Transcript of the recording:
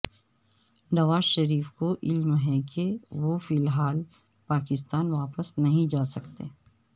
نواز شریف کو علم ہے کہ وہ فی الحال پاکستان واپس نہیں جاسکتے